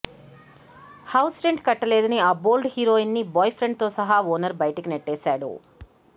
house rent కట్టలేదని ఆ bold heroine ని బాయ్ ఫ్రెండ్ తో సహా ఓనర్ బయటికి నెట్టేశాడు